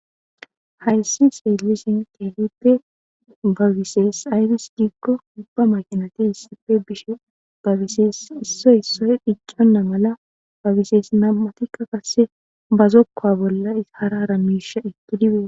Hayssi seelisin kelippe bagisees ayfis diggo ubba makinati issife bishe bagisees issoy issoy dhicconna mala bagisees nam'atikka kasse bazokka bolla hara ramisha etti dibee.